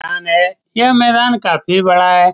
मैदान है यह मैदान काफी बड़ा है।